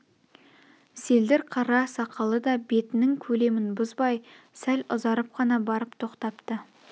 селдір қара сақалы да бетнің көлемін бұзбай сәл ұзарып қана барып тоқтапты